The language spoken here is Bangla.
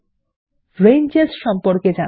চলুন রেঞ্জেস সম্পর্কে জানা যাক